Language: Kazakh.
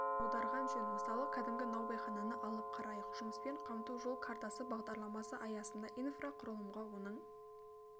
аударған жөн мысалы кәдімгі наубайхананы алып қарайық жұмыспен қамту жол картасы бағдарламасы аясында инфрақұрылымға оның